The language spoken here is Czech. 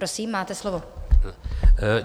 Prosím máte slovo.